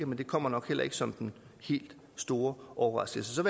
men det kommer nok heller ikke som den helt store overraskelse så